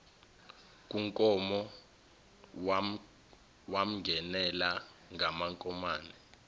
kunkomo wamngenela ngamankomane